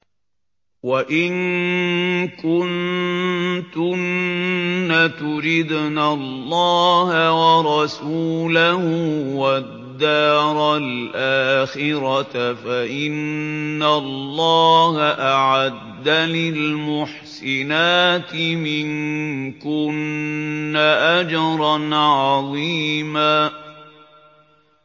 وَإِن كُنتُنَّ تُرِدْنَ اللَّهَ وَرَسُولَهُ وَالدَّارَ الْآخِرَةَ فَإِنَّ اللَّهَ أَعَدَّ لِلْمُحْسِنَاتِ مِنكُنَّ أَجْرًا عَظِيمًا